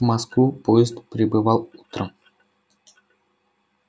в москву поезд прибывал утром